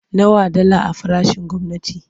Nawa dala a farashin gwamnati?